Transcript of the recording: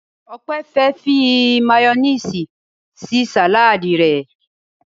Ope fe fí mayonnaise sí Sàláàdì rẹ.